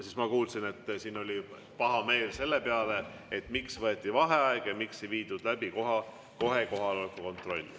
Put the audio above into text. Siin ma kuulsin, et oli pahameel selle peale, miks võeti vaheaeg ja miks ei viidud läbi kohe kohaloleku kontrolli.